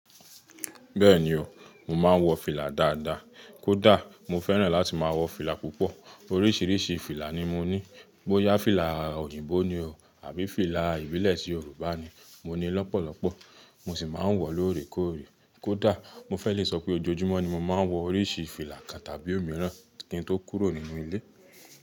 Bẹ́ẹ̀ni o, mo máa ń wọ fìlà dáadáa. Kódà mo fẹ́ràn láti máa wọ fìlà púpọ̀. Oríṣiríṣi fìlà ni mo ní. Bóyá fìlà òyìnbó ni o àbí fìlà ìbílẹ̀ tí Yorùbá ni, mo ní lọ́pọ̀lọpọ̀. Mo sì máa ń wọ lóòrèkóòrè. Kódà mo fẹ́ lè sọ pé ojoojúmọ́ ni mo máa ń wọ oríṣi fìlà kan tàbí òmíràn kí n tó kúrò nínú ilé.